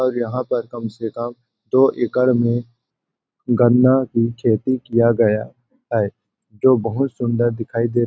और यहाँ पर कम से कम दो-एकड़ में गन्ना की खेती किया गया है जो बहुत सुन्दर दिखाई दे --